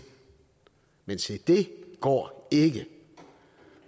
men se det går ikke